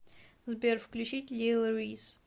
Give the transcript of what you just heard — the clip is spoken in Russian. сбер включить лил рис